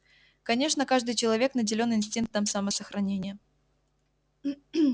конечно каждый человек наделён инстинктом самосохранения